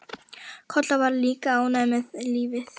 Kolla var líka ánægð með lífið.